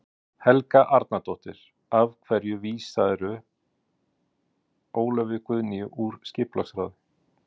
Helga Arnardóttir: Af hverju vísaðir þú Ólöfu Guðnýju úr skipulagsráði?